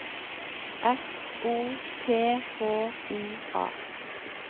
S O P H I A